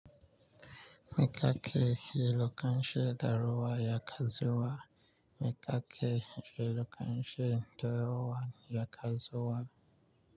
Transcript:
Mi ka ke, yi loka shen daruwa, ya kazuwa. Mi ka ke, yi lo kan she daruwa, ya kazuwa.